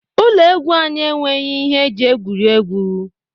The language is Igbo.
Ụlọ egwu anyị enweghị ihe eji egwuri egwu.